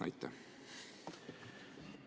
Aitäh!